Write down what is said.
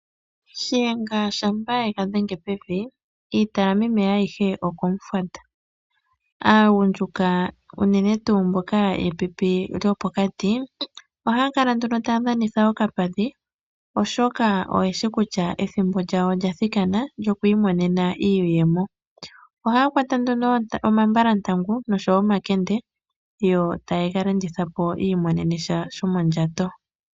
Shiyenga shampa e ga dhenge pevi iita yameme ayihe okomufwata. Aagundjuka unene tuu mboka yepipi lyopokati ohaya kala nduno taya dhanitha okapadhi, oshoka oye shi kutya ethimbo lyawo olya thikana lyoku imonena iiyemo. Ohaya kwata nduno omambalantangu noshowo omakende, yo taye ga landitha po, yi imonene sha shomondjato.